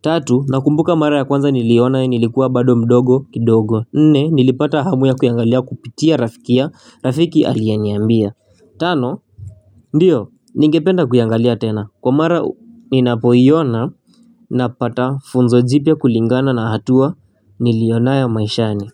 tatu nakumbuka mara ya kwanza niliona nilikuwa bado mdogo kidogo nne nilipata hamu ya kuiangalia kupitia rafikia rafiki alieniambia tano. Ndiyo, ningependa kuyangalia tena, kwa mara ninapoiona na pata funzo jipya kulingana na hatua nilionaya maishani.